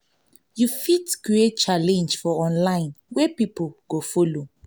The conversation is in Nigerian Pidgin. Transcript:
you fit create challenge for online wey pipo go follow